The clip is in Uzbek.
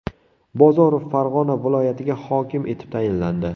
Bozorov Farg‘ona viloyatiga hokim etib tayinlandi.